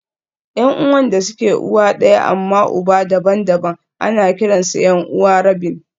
Yan'uwan da suke uwa ɗaya amma uba daban-daban ana kiransu 'yan'uwa rabin